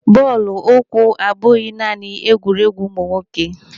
Bọọlụ ụkwụ abụghị naanị egwuruegwu ụmụ nwoke.